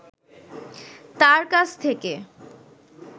তাঁর কাছ থেকে